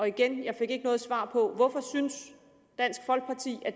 igen jeg fik ikke noget svar på hvorfor synes